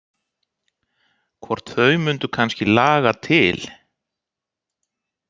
Hvort þau mundu kannski laga til.